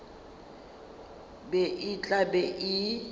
be e tla be e